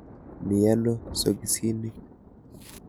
Mi ano sokisinik.